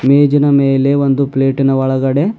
ಮೇಜಿನ ಮೇಲೆ ಒಂದು ಪ್ಲೇಟಿನ ಒಳಗಡೆ--